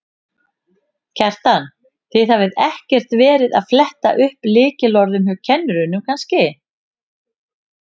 Kjartan: Þið hafið ekkert verið að fletta upp lykilorðum hjá kennurum kannski?